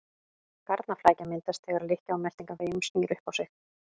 Garnaflækja myndast þegar lykkja á meltingarveginum snýr upp á sig.